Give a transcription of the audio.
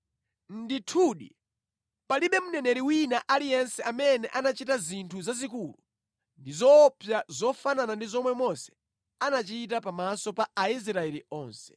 Ndithudi palibe mneneri wina aliyense amene anachita zinthu zazikulu ndi zoopsa zofanana ndi zomwe Mose anachita pamaso pa Aisraeli onse.